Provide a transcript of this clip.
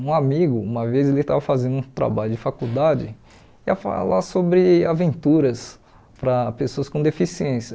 Um amigo, uma vez ele estava fazendo um trabalho de faculdade, ia falar sobre aventuras para pessoas com deficiência.